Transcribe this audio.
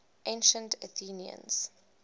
ancient athenians